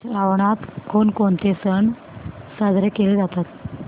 श्रावणात कोणकोणते सण साजरे केले जातात